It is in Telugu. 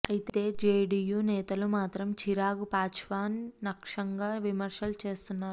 అయితే జేడీయూ నేతలు మాత్రం చిరాగ్ పాశ్వాన్ లక్ష్యంగా విమర్శలు చేస్తున్నారు